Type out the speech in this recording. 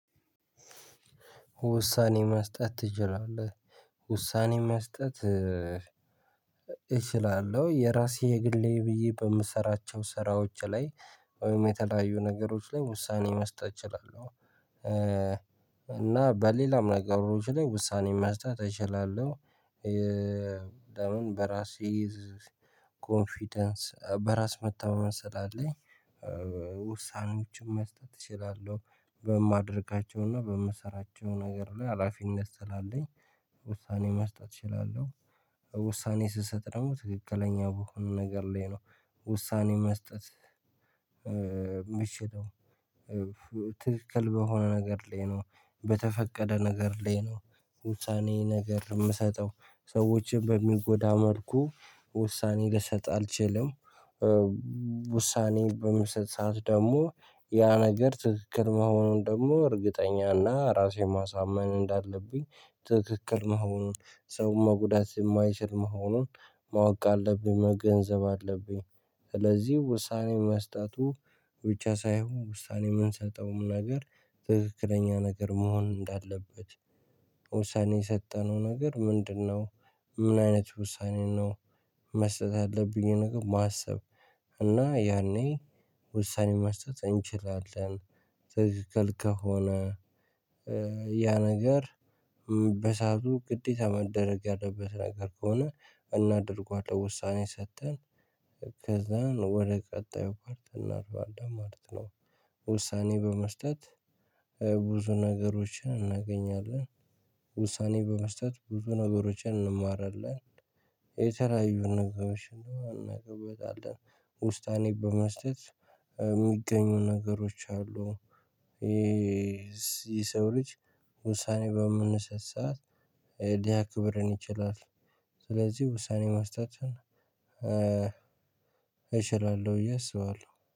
ውሳኔ መስጠት ትችላለህ? ውሳኔ መስጠት። እችላለሁ የራሴ የግሌ ብዬ በምሰራቸው ስራዎች ላይ ወይም የተለያዩ ነገሮች ላይ ውሳኔ መስጠት እችላለሁ። እና በሌላም ነገሮች ላይ ውሳኔ መስጠት እችላለሁ። ለምን በራሴ ኮንፊደንስ በራስ መተማመን ስላለኝ። ውሳኔዎችን መስጠት እችላለሁ በማድረጋቸውና በምሰራቸው ነገር ላይ ሀላፊነት ስላለኝ። ውሳኔ መስጠት እችላለሁ። ውሳኔ ስሰጥ ደግሞ ትክክለኛ በሆነ ነገር ላይ ነው ውሳኔ መስጠት የምችለው። ትክክል በሆነ ነገር ላይ ነው በተፈቀደ ነገር ላይ ነው ውሳኔ ነገር የምሰጠው ሰዎችን በሚጎዳ መልኩ። ውሳኔ ልሰጥ አልችልም። ውሳኔ በምስጥ ሰዓት ደግሞ ያ ነገር ትክክል መሆኑን ደግሞ እርግጠኛና ራሴን ማሳመን እንዳለብኝ ትክክል መሆኑን ሰውን መጉዳት የማይችል መሆኑን ማወቅ አለብኝ መገንዘብ አለብኝ። ስለዚህ ውሳኔ መስጠቱ ብቻ ሳይሆን ውሳኔ የምንሰጠውም ነገር ትክክለኛ ነገር መሆን እንዳለበት። ውሳኔ የሰጠነው ነገር ምንድነው? ምን አይነት ውሳኔ ነው። መስጠት ያለብኝ ነገር ማሰብ። እና ያኔ ውሳኔ መስጠት እንችላለን። ትክክል ከሆነ ያ ነገር በሰአቱ ግዴታ መደረግ ያለበት ነገር ከሆነ። እናደርገዋለን ውሳኔ ሰጥተን ከዛን ወደ ቀጣዩ ፓርት እናልፋለን ማለት ነው። ውሳኔ በመስጠት ብዙ ነገሮችን እናገኛለን። ውሳኔ በመስጠት ብዙ ነገሮችን እንማራለን። የተለያዩ ነገሮችን እናገባለን። ውስኔ በመስጠት የሚገኙ ነገሮች አሉ። የሰው ልጅ ውሳኔ በምንሰጥ ሰዓት ሊያክብረን ይችላል የሰው ልጅ ስለዚህ ውሳኔ መስጠትን። እችላለሁ ብዬ አስባለሁ